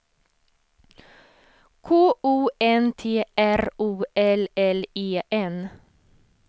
K O N T R O L L E N